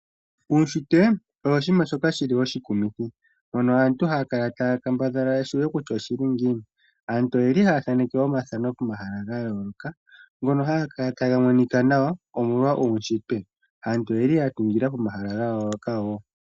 Uushitwe owo oshinima shoka shili oshikumithi moka aantu haya kala taya kambadhala ya shiwe kutya oshili ngiini aantu oyeli haa thaaneke omathano pomahala ga yooloka ngoko haga kala taga monika nawa omolwa uushitwe ,aantu oyeli ya tungila pomahala ga yooloka wo.